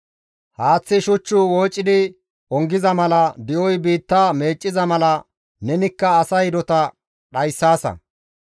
haaththi shuch woocidi ongiza mala, di7oy biitta meecciza mala nenikka asa hidota dhayssaasa.